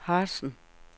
Harzen